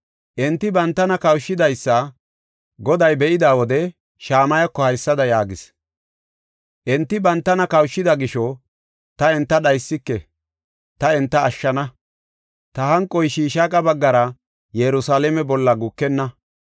Enti bantana kawushidaysa Goday be7ida wode Shamayako haysada yaagis; “Enti bantana kawushida gisho ta enta dhaysike; ta enta ashshana. Ta hanqoy Shishaaqa baggara Yerusalaame bolla gukenna.